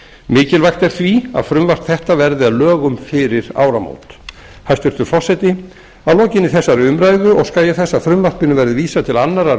mikilvægt er því að þetta frumvarp verði að lögum fyrir áramót hæstvirtur forseti að lokinni þessari umræðu óska ég þess að frumvarpinu verði vísað til annarrar